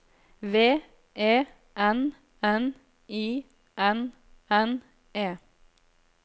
V E N N I N N E